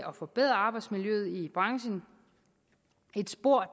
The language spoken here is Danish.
at forbedre arbejdsmiljøet i branchen et spor